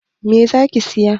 Me zaki siya?